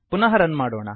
ಪುನಃ ರನ್ ಮಾಡೋಣ